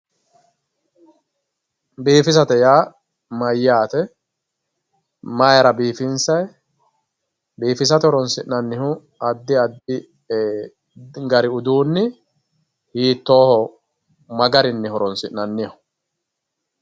Biifisate yaa mayyaate? Mayira biifinsayi? Biifisate horoonsi'nannihu addi addi gari uduunni hiittooho? Ma garinni horoonsi'nanniho?